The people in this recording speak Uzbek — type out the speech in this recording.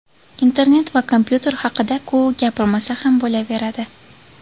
Internet va kompyuter haqida-ku gapirmasa ham bo‘laveradi.